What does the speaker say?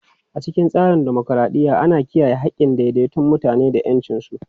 A cikin tsarin dimokuradiyya, ana kiyaye haƙƙin ɗaiɗaikun mutane da ƴancinsu.